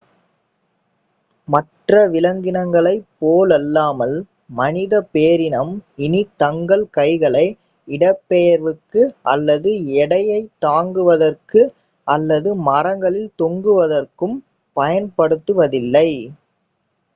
மற்ற விலங்கினங்களைப் போலல்லாமல் மனிதப் பேரினம் இனி தங்கள் கைகளை இடப்பெயர்வுக்கு அல்லது எடையைத் தாங்குவதற்கு அல்லது மரங்களில் தொங்குவதற்கும் பயன்படுத்துவதில்லை